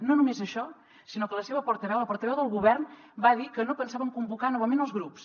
no només això sinó que la seva portaveu la portaveu del govern va dir que no pensaven convocar novament els grups